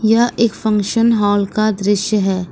यह एक function hall का दृश्य है।